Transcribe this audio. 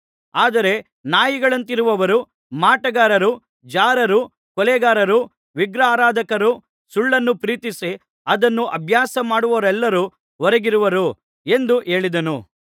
ಆದರೆ ನಾಯಿಗಳಂತಿರುವವರೂ ಮಾಟಗಾರರೂ ಜಾರರೂ ಕೊಲೆಗಾರರೂ ವಿಗ್ರಹಾರಾಧಕರೂ ಸುಳ್ಳನ್ನು ಪ್ರೀತಿಸಿ ಅದನ್ನು ಅಭ್ಯಾಸಮಾಡುವವರೆಲ್ಲರೂ ಹೊರಗಿರುವರು ಎಂದು ಹೇಳಿದನು